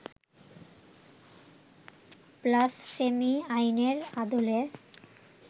blasphemy আইনের আদলে